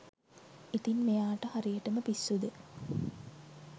ඉතින් මෙයාට හරියටම පිස්සු ද